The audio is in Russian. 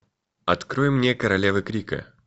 открой мне королевы крика